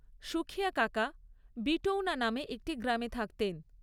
সুখিয়া কাকা বিটৌনা নামে একটি গ্রামে থাকতেন।